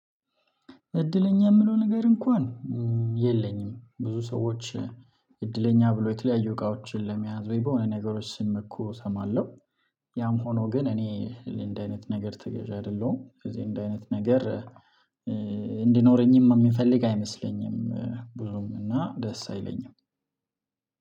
እድለኛ የምለው ነገር እንኳን የለኝም ብዙ ሰዎች እድለኛ ብሎ የተለያዩ እቃዎችን ለመያዝ ወይ በሆነ ነገሮች ስመኩ እሰማለሁ። ያም ሆኖ ግን እኔ እንደ አይነት ነገር ተገዣ አይደለሁም። ስለዚህ እንደ አይነት ነገር እንዲኖረኝም የምፈልግ አይመስለኝም ብዙም እና ደስ አይለኝም።